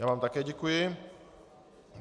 Já vám také děkuji.